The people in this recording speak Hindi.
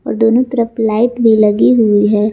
और दोनों तरफ लाइट भी लगी हुई है।